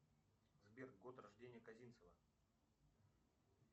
сбер год рождения козинцева